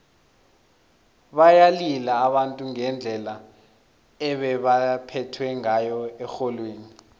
bayalila abantu ngendlela ebebaphethwe ngayo erholweni